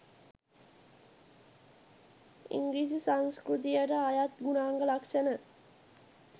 ඉංගිරිසි සංස්ක්‍යතියට අයත් ගුණාංග ලක්‍ෂණ